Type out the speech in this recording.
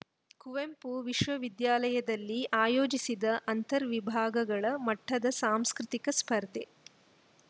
ಕುವೆಂಪು ವಿಶ್ವವಿದ್ಯಾಲಯದಲ್ಲಿ ಆಯೋಜಿಸಿದ್ದ ಅಂತರ್‌ ವಿಭಾಗಗಳ ಮಟ್ಟದ ಸಾಂಸ್ಕೃತಿಕ ಸ್ಪರ್ಧೆ